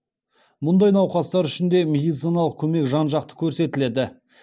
мұндай науқастар үшін де медициналық көмек жан жақты көрсетіледі